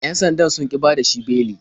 Yan sandan sun ƙi bada shi beli.